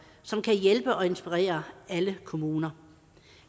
som kan hjælpe og inspirere alle kommuner